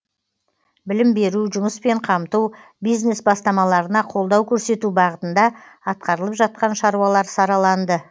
білім беру жұмыспен қамту бизнес бастамаларына қолдау көрсету бағытында атқарылып жатқан шаруалар сараланды